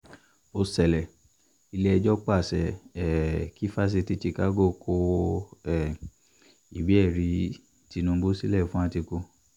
ó ṣẹlẹ̀ ilé-ẹjọ́ pàṣẹ um kí fásitì chicago kọ um ìwé-ẹ̀rí tinubu sílẹ̀ fún àtikukíà